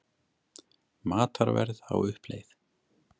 Matarverð á uppleið